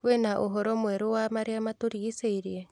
kwĩna ũhoro mwerũ wa marĩa matũrigicĩirie